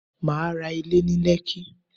Mà á ra Ilé ní Lẹ́kí